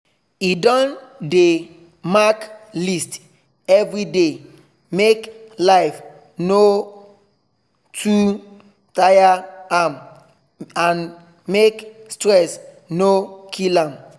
he don dey mark list everyday make life no too tire am and make stress no kill am